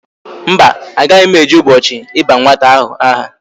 Mba, agaghi m eje ubochi iba nwata ahu aha